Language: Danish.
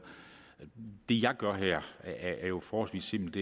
det jeg gør her er jo forholdsvis simpelt